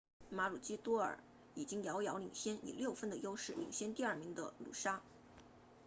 马鲁基多尔 maroochydore 已经遥遥领先以六分的优势领先第二名的努沙 noosa